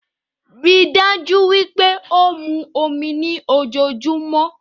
Ríi dájú wípé ó mu omi ní ojojúmó